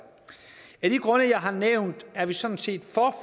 af de grunde jeg har nævnt er vi sådan set